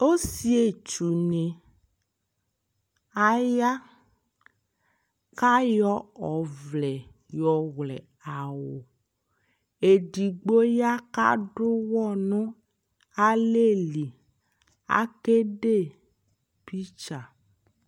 Osietsunɩ aya k'ayɔ ɔvlɛ yɔ wlɛ awʋ Edigbo ya kad'ʋwɔ alɛli, akede picture